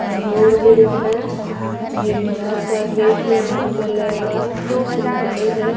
है एक बड़ा सा गेट है ब्लू कलर का पीछे पेड़ है।